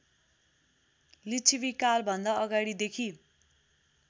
लिच्छवीकालभन्दा अगाडिदेखि